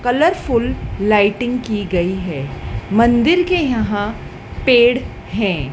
Colour फूल lighting की गई है मन्दिर के यहां पेड़ है।